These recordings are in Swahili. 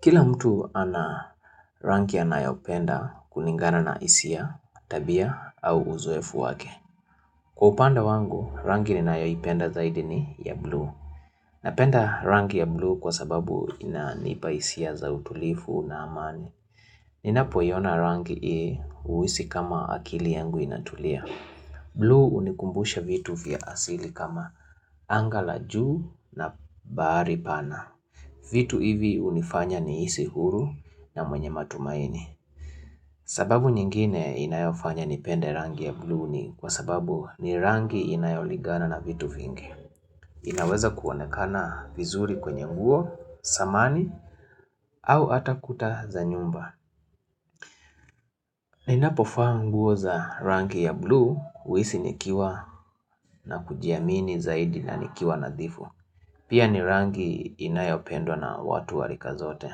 Kila mtu ana rangi anayopenda kulingana na hisia, tabia, au uzoefu wake. Kwa upande wangu, rangi ninayoipenda zaidi ni ya blue. Napenda rangi ya blue kwa sababu inanipa hisia za utulivu na amani. Ninapoiona rangi huisi kama akili yangu inatulia. Blue unikumbusha vitu vya asili kama angaa la juu na bahari pana. Vitu hivi hunifanya nihisi huru na mwenye matumaini. Sababu nyingine inayofanya nipende rangi ya blue ni kwa sababu ni rangi inayolingana na vitu vingi. Inaweza kuonekana vizuri kwenye nguo, samani, au ata kuta za nyumba. Ninapovaa nguo za rangi ya blue huisi nikiwa na kujiamini zaidi na nikiwa nadhifu. Pia ni rangi inayopendwa na watu wa rika zote.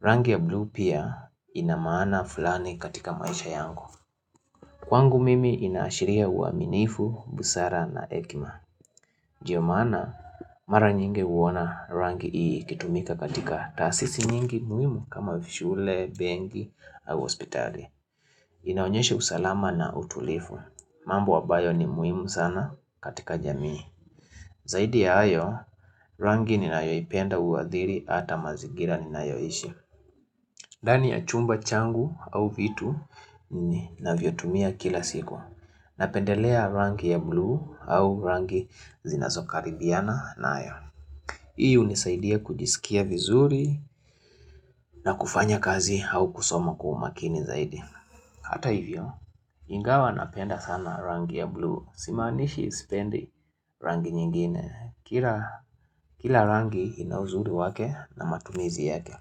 Rangi ya blue pia inamaana fulani katika maisha yangu. Kwangu mimi inaashiria uaminifu, busara na hekima. Ndio maana mara nyingi huona rangi hii ikitumika katika taasisi nyingi muhimu kama vile shule, benki au hospitali. Inaonyeshe usalama na utulifu. Mambo ambayo ni muhimu sana katika jamii. Zaidi ya hayo rangi ninaiyoipenda huadhiri ata mazigira ninayoishi. Ndani ya chumba changu au vitu ninavyotumia kila siku Napendelea rangi ya blue au rangi zinazokaribiana nayo Hii hunisaidia kujisikia vizuri na kufanya kazi au kusoma kwa umakini zaidi Hata hivyo, ingawa napenda sana rangi ya blue Simaanishi sipendi rangi nyingine Kila rangi ina uzuri wake na matumizi yake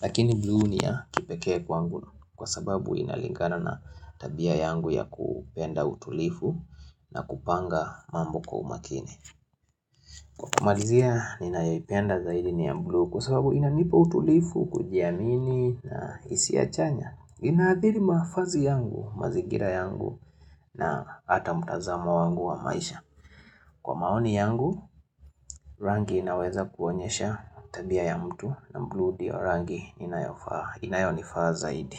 Lakini blue ni ya kipekee kwangu kwa sababu inalingana na tabia yangu ya kupenda utulivu na kupanga mambo kwa umakini Kwa kamarizia ninayoipenda zaidi ni ya blue kwa sababu inanipa utulivu, kujiamini na hisia chanya inadhili mavazi yangu, mazingira yangu na ata mtazamo wangu wa maisha Kwa maoni yangu, rangi inaweza kuonyesha tabia ya mtu na blue ndio ya rangi inayonifaa zaidi.